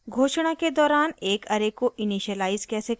घोषणा के दौरान एक array को इनिशियलाइज़ कैसे करें